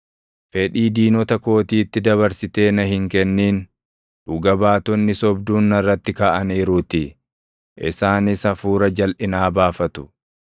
Fedhii diinota kootiitti dabarsitee na hin kennin; dhuga baatonni sobduun narratti kaʼaniiruutii; isaanis hafuura jalʼinaa baafatu.